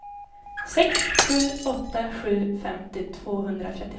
sex sju åtta sju femtio tvåhundratrettiofem